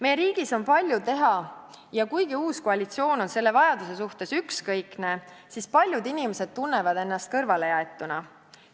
Meie riigis on palju teha ja kuna uus koalitsioon on selle vajaduse suhtes ükskõikne, siis paljud inimesed tunnevad ennast kõrvalejäetuna.